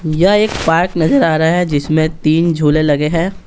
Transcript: यह एक पार्क नजर आ रहा है जिसमें तीन झूले लगे हैं।